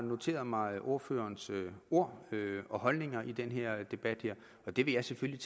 har noteret mig ordførerens ord og holdninger i den her debat og det vil jeg selvfølgelig